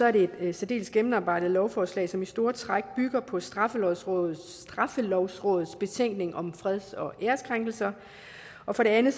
er det et særdeles gennemarbejdet lovforslag som i store træk bygger på straffelovrådets straffelovrådets betænkning om freds og ærekrænkelser og for det andet